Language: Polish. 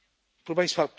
Proszę Państwa!